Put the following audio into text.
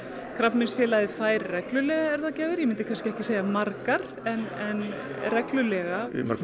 Krabbameinsfélagið fær reglulega erfðagjafir ég myndi kannski ekki segja margar en þær reglulega í mörgum